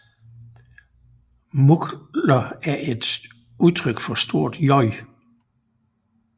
Muggler er et udtryk fra J